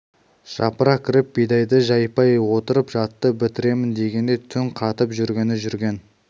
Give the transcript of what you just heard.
жапыра кіріп бидайды жайпай орып жатты бітіремін дегендей түн қатып жүргені жүрген